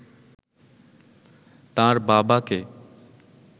তাঁর বাবাকে